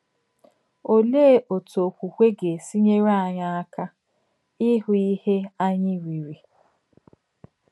Òlèé um òtú òkwùkwè gà-èsì enyèrè ányị̀ àkà íhù ìhè ányị̀ rìrì? um